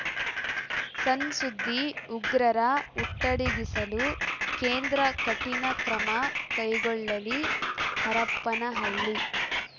ಸಣ್‌ ಸುದ್ದಿ ಉಗ್ರರ ಹುಟ್ಟಡಗಿಸಲು ಕೇಂದ್ರ ಕಠಿಣ ಕ್ರಮ ಕೈಗೊಳ್ಳಲಿ ಹರಪನಹಳ್ಳಿ